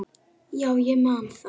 Já, ég man það.